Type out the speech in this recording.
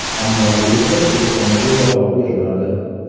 Ammo direktor telefoniga javob bermadi.